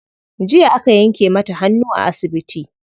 Jiya aka yanke mata hannu a asibiti.